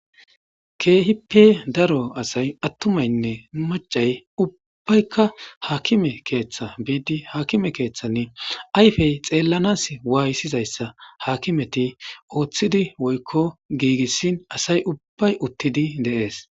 Keehi pe daro asay attumaynne macay ubbaykka haakime keeththa biidi haakime keeththanni ayfey xeellanas waayisizayssa hakimeti ooththidi woykko giigissin asay ubbay uttidi deees.